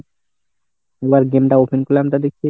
দুবার game টা open করলাম তা দেখছি,